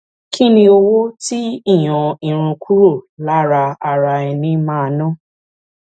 kí ni owó tí ìyọn irun kúrò lára ara ẹni máa ná